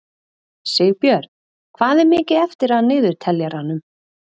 Sigbjörn, hvað er mikið eftir af niðurteljaranum?